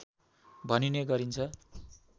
भनिने गरिन्छ